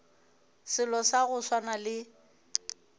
selo sa go swana le